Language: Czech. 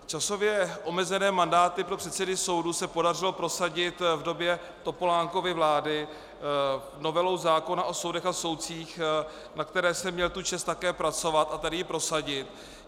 Časově omezené mandáty pro předsedy soudu se podařilo prosadit v době Topolánkovy vlády novelou zákona o soudech a soudcích, na které jsem měl tu čest také pracovat a tady ji prosadit.